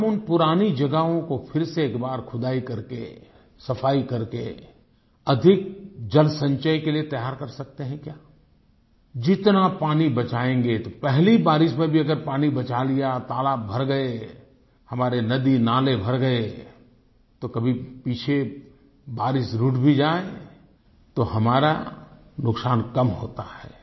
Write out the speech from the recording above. क्या हम उन पुरानी जगहों को फिर से एक बार खुदाई करके सफाई करके अधिक जलसंचय के लिए तैयार कर सकते हैं क्या जितना पानी बचायेंगे तो पहली बारिश में भी अगर पानी बचा लिया तालाब भर गए हमारे नदी नाले भर गए तो कभी पीछे बारिश रूठ भी जाये तो हमारा नुकसान कम होता है